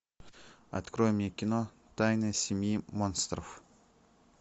открой мне кино тайна семьи монстров